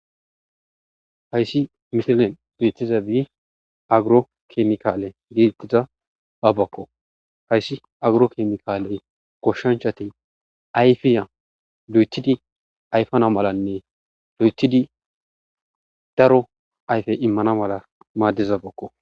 Hayssi missiley bettizabi aggirokemikalle getetidabako hayssi aggirokemikalley goshanchat ayfe loeththidi ayfana mallanne loethidi daro ayfe immana malla madizabako.